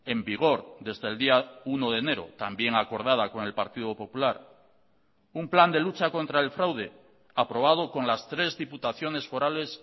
en vigor desde el día uno de enero también acordada con el partido popular un plan de lucha contra el fraude aprobado con las tres diputaciones forales